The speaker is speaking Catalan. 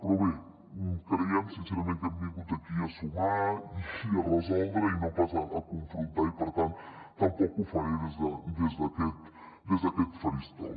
però bé creiem sincerament que hem vingut aquí a sumar i a resoldre i no pas a confrontar i per tant tampoc ho faré des d’aquest faristol